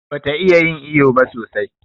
Bata iya yin iƴo ba sosai.